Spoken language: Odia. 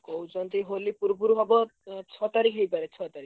କହୁଛନ୍ତି ହୋଲି ପୂର୍ବୁରୁ ହବ ଉଁ ଛଅ ତାରିଖ୍ ହେଇପାରେ ଛଅ ତାରିଖ୍।